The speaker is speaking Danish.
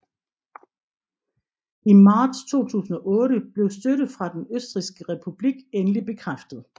I marts 2008 blev støtte fra Den Østrigske Republik endeligt bekræftet